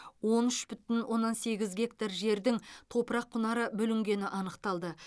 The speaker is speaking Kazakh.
он үш бүтін оннан сегіз гектар жердің топырақ құнары бүлінгені анықталды